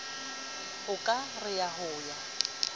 o ka re ho ya